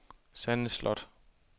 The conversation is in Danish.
Sanne Sloth